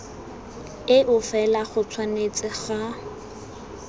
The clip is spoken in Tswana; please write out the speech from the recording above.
eo fela go tshwanetse ga